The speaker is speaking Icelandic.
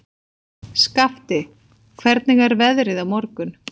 Skafti, hvernig er veðrið á morgun?